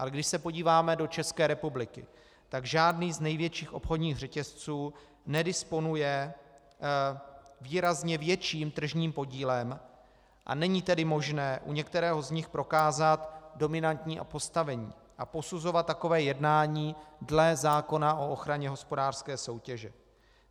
A když se podíváme do České republiky, tak žádný z největších obchodních řetězců nedisponuje výrazně větším tržním podílem, a není tedy možné u některého z nich prokázat dominantní postavení a posuzovat takové jednání dle zákona o ochraně hospodářské soutěže.